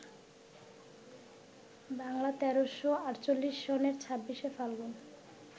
বাংলা ১৩৪৮ সনের ২৬শে ফাল্গুন